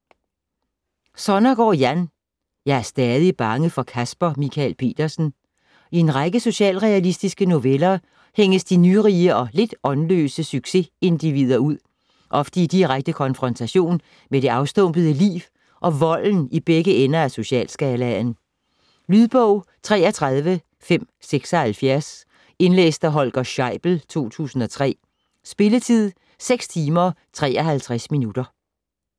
Sonnergaard, Jan: Jeg er stadig bange for Caspar Michael Petersen I en række socialrealistiske noveller hænges de nyrige og lidt åndløse succesindivider ud, ofte i direkte konfrontationer med det afstumpede liv og volden i begge ender af socialskalaen. Lydbog 33576 Indlæst af Holger Scheibel, 2003. Spilletid: 6 timer, 53 minutter.